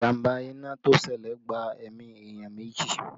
Ìjàmbá iná to ṣẹlẹ̀ gba ẹ̀mí èèyàn meji